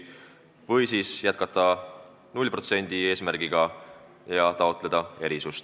Aga me võime ka jätkata määraga 0% ja taotleda Eestile erisust.